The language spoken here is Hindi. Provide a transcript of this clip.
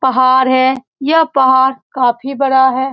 पहाड़ है यह पहाड़ काफी बड़ा है।